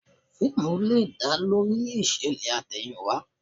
Fíìmù lè dá lórí ìṣẹ̀lẹ̀ àtẹ̀yìnwá